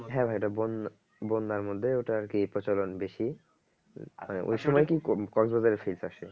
হ্যাঁ ভাই এটা বন্যা বন্যার মধ্যে ওটা আরকি প্রচলন বেশি